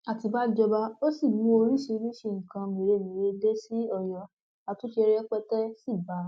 àtibá jọba o ò sì mú oríṣiríṣii nǹkan mèremère dé sí ọyọ àtúnṣe rẹpẹtẹ sí bá a